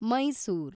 Mysore